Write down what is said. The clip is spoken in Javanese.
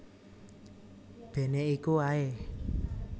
Bene iku ae